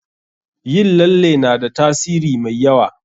Yin lalle na da tasiri mai yawa.